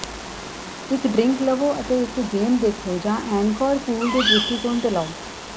ਇੱਕ ਡ੍ਰਿੰਕ ਲਵੋ ਅਤੇ ਇੱਕ ਗੇਮ ਦੇਖੋ ਜਾਂ ਐਨਕੋਰ ਪੂਲ ਦੇ ਦ੍ਰਿਸ਼ਟੀਕੋਣ ਤੇ ਲਓ